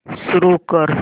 सुरू कर